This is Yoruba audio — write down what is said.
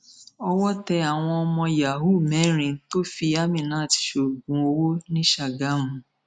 owó tẹ àwọn ọmọ yahoo mẹrin tó fi aminat sóògùn owó ní ṣàgámù